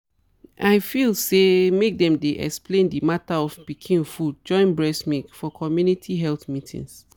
i feel say make them dey explain the matter of pikin food join breast milk for community health meeting.